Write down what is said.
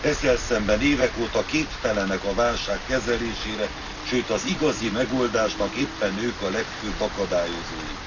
ezzel szemben évek óta képtelenek a válság kezelésére, sőt az igazi megoldásnak éppen ők a legfőbb akadályozói.